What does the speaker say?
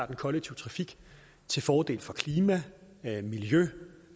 den kollektive trafik til fordel for klima og miljø